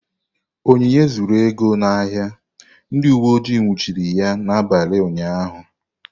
Onyinye zuru ego n'ahịa, ndị uweojii nwụchiri ya n'abalị ụnyahụ.